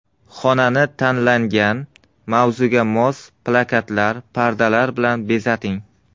Xonani tanlangan mavzuga mos plakatlar, pardalar bilan bezating.